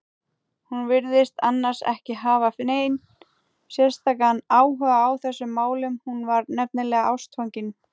Hún virtist annars ekki hafa neinn sérstakan áhuga á þessum málum, hún var nefnilega ástfangin.